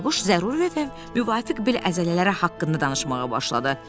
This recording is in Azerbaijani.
Bayquş zəruri və müvafiq bel əzələləri haqqında danışmağa başladı.